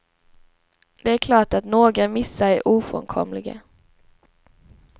Det är klart att några missar är ofrånkomliga.